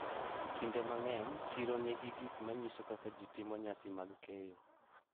Kinde mang’eny, chiro nigi gik ma nyiso kaka ji timo nyasi mag keyo,